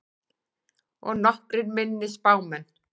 Og nokkrir minni spámenn.